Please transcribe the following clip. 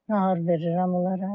Nahar verirəm onlara.